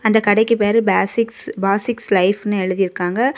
இந்த கடைக்கு பேரு பேசிக்ஸ் . பாசிக்ஸ் லைஃப்ன்னு எழுதிருக்காங்க.